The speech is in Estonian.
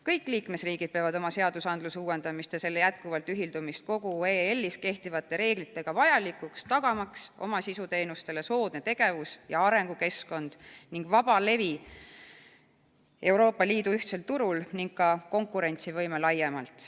Kõik liikmesriigid peavad oma seaduse uuendamist ja selle ühildamist kogu EL-is kehtivate reeglitega vajalikuks, tagamaks oma sisuteenustele soodne tegevus- ja arengukeskkond, vaba levi Euroopa Liidu ühtsel turul ning konkurentsivõime laiemalt.